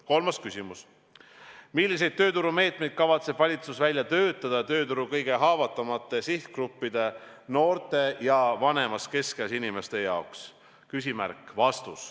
Kolmas küsimus: "Milliseid tööturumeetmeid kavatseb valitsus välja töötada tööturu kõige haavatavamate sihtgruppide, noorte ja vanemas keskeas inimeste, jaoks?